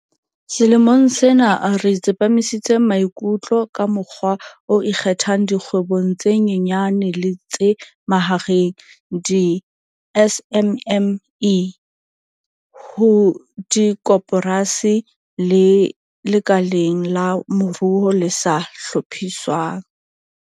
Selemong sena re tsepamisitse maikutlo ka mokgwa o ikgethang dikgwebong tse nyenyane le tse mahareng, di-SMME, ho dikoporasi le lekaleng la moruo le sa hlophiswang.